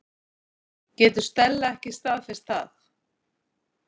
Getur Stella ekki staðfest það?